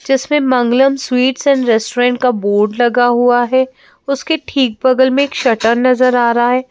जिसमें Mangalam sweets and restaurant का board लगा हुआ है उसके ठीक बगल में शटर नजर आ रहा--